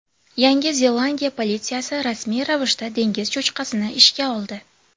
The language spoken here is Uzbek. Yangi Zelandiya politsiyasi rasmiy ravishda dengiz cho‘chqasini ishga oldi.